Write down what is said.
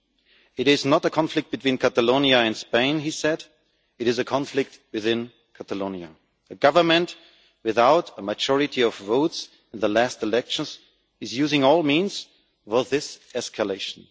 It is not a conflict between Catalonia and Spain, he said, it is a conflict within Catalonia. A government without a majority of votes in the last elections is using all means for this escalation.